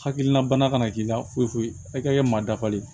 Hakilina bana kana k'i la foyi foyi kɛ maa dafalen